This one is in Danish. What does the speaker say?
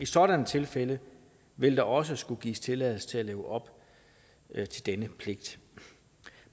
sådant tilfælde vil der også skulle gives tilladelse til at leve op til denne pligt